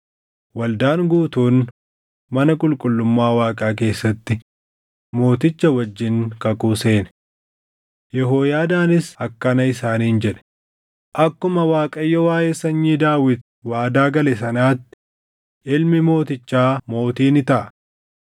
waldaan guutuun mana qulqullummaa Waaqaa keessatti mooticha wajjin kakuu seene. Yehooyaadaanis akkana isaaniin jedhe; “Akkuma Waaqayyo waaʼee sanyii Daawit waadaa gale sanatti, ilmi mootichaa mootii ni taʼa.